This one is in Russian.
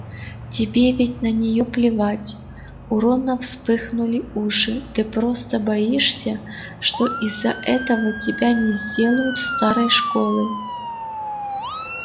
тебе ведь на неё плевать у рона вспыхнули уши ты просто боишься что из-за этого тебя не сделают старой школы